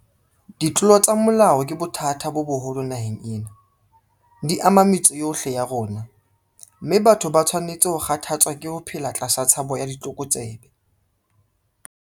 Ditlolo tsa molao ke bothata bo boholo naheng ena. Di ama metse yohle ya rona, mme batho ba a tshwanetse ho kgathatswa ke ho phela tlasa tshabo ya ditlokotsebe.